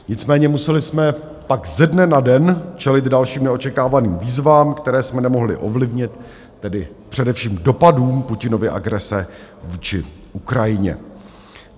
Nicméně museli jsme pak ze dne na den čelit dalším neočekávaným výzvám, které jsme nemohli ovlivnit, tedy především dopadům Putinovy agrese vůči Ukrajině.